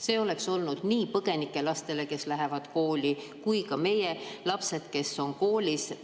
See oleks olnud nii põgenike lastele, kes lähevad kooli, kui ka meie lastele, kes käivad koolis.